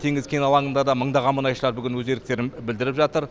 теңіз кен алаңында да мыңдаған мұнайшылар бүгін өз еріктерін білдіріп жатыр